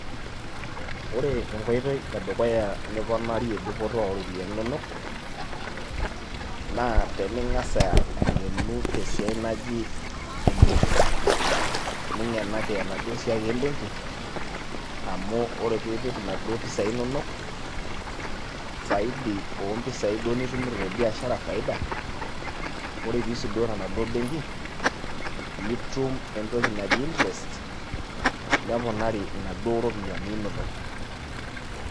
Ore enkoitoi edukuya niponarie dupoto ooropiyiani inonok naa tening'as ang'enu te esiai naji ebenki ning'enaki enaduo siai ebenki amu ore piipik inaduo pisai inonok saidi oompisai duo nitumito te biashara faida ore piisudoo tenaduoo benki nitum entoki naji interest neponari inaduoo ropiyiani inonok.